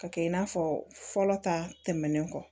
Ka kɛ i n'a fɔ fɔlɔ ta tɛmɛnen kɔ